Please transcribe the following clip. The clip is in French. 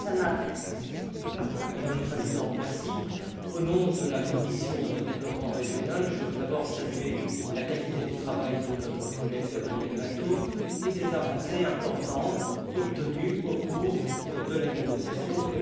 Madame la Présidente, au nom de la commission du développement régional, je veux d'abord saluer la qualité du travail de notre collègue Gabriel Mato Adrover et les avancées importantes obtenues au cours de la négociation lors des trilogues.